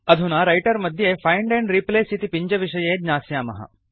अधुना रैटर् मध्ये find and replace इति पिञ्जविषये ज्ञास्यामः